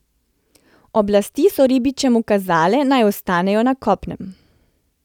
Oblasti so ribičem ukazale, naj ostanejo na kopnem.